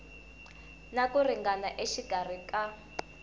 na ku ringana exikarhi ka